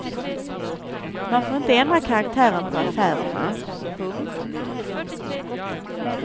Man får inte ändra karaktären på affärerna. punkt